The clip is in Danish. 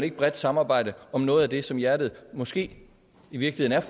et bredt samarbejde om noget af det som hjertet måske i virkeligheden